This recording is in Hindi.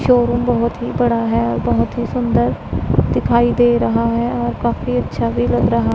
शोरूम बहोत ही बड़ा है बहोत ही सुंदर दिखाई दे रहा है और काफी अच्छा भी लग रहा--